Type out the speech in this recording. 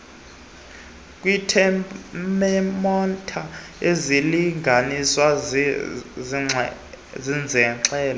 kwiithemometha isilinganiso soxinzelelo